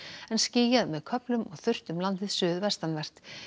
en skýjað með köflum og þurrt um landið suðvestanvert